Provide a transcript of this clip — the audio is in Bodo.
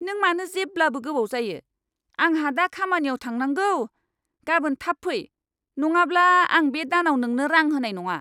नों मानो जेब्लाबो गोबाव जायो? आंहा दा खामानियाव थांनांगौ! गाबोन थाब फै, नङाब्ला आं बे दानाव नोंनो रां होनाय नङा!